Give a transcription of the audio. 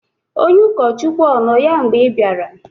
onye ụkọchukwu ọ nọ ya mgbe ị bịara?